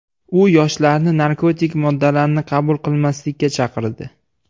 U yoshlarni narkotik moddalarni qabul qilmaslikka chaqirdi.